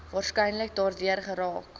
waarskynlik daardeur geraak